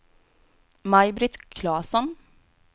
Maj-Britt Klasson